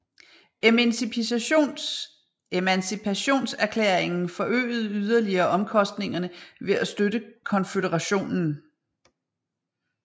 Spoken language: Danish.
Emancipationserklæringen forøgede yderligere omkostningerne ved at støtte Konføderationen